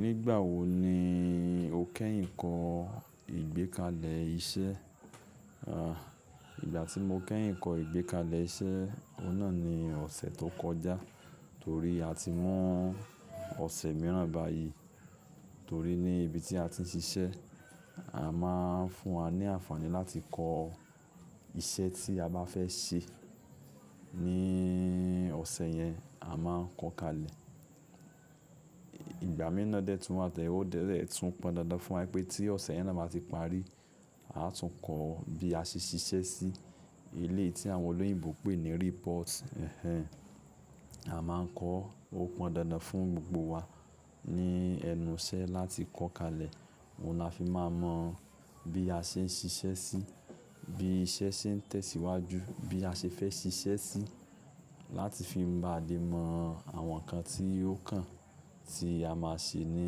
Nígbà wo ni o kẹ́yìn kọ́ ìgbékalẹ̀ iṣẹ́? Ìgbà tí mo kẹ́yìn kọ ìgbékalẹ̀ iṣẹ́, o náà ni ọ̀sẹ̀ tó kọjá. Torí a ti mu ọ̀sẹ̀ mìíràn báyìí. Torí ní ibi tí a ti ń ṣiṣẹ́, a máa ń fún wa ní àǹfààní láti kọ iṣẹ́ tí a bá fẹ́ ṣe. Ni ọ̀sẹ̀ yẹn, a máa ń kọ kalẹ̀. Ìgbà mi ná dẹ́ tùn wa, to je-- o dẹẹ tún pọn dandan fún wa pé tí ọ̀sẹ̀ yẹn náà bá ti parí, a tún kọ bí a ṣe ṣiṣẹ́ sí eleyi tí àwọn olóyìnbo pè ní report. Ẹ̀hẹn. A máa ń kọ, ó pọn dandan fún gbogbo wa ní ẹnu iṣẹ́ láti kọ́ kalẹ̀. Ó láfi máa mọ bí a ṣe ń ṣiṣẹ́ sí, bí iṣẹ́ ṣe ń tẹ̀síwájú, bí a ṣe fẹ́ ṣiṣẹ́ sí, láti fi báa le mo àwọn nǹkan tí ó kàn tí a máa ṣe ní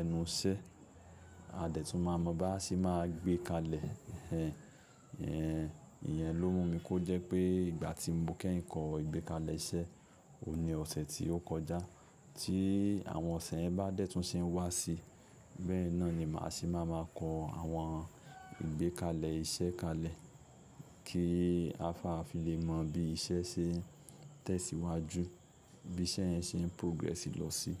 ẹnu iṣẹ́. A dẹ́tùn máa mọ bá ṣe máa gbé kalẹ̀. Ẹ̀hẹn. Ìyẹn ló mú mi kó jẹ́ pé ìgbà tí mo kẹ́yìn kọ ìgbékalẹ̀ iṣẹ́, o ní ọ̀sẹ̀ tí ó kọjá. Tí àwọn ọ̀sẹ̀ yẹn bá dẹ́tùn ṣe ń wá sí, bẹ́ẹ̀ náà ni màá ṣe máa ma mọ àwọn ìgbékalẹ̀ iṣẹ́ kalẹ̀ kí a fa fi lè mọ bí iṣẹ́ ṣe ń tẹ̀síwájú, bí iṣẹ́ yẹn ṣe ń progress lọ sí.